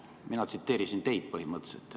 Mina tsiteerisin teid, põhimõtteliselt.